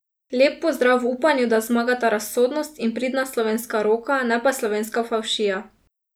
Lep pozdrav v upanju, da zmagata razsodnost in pridna slovenska roka, ne pa slovenska favšija!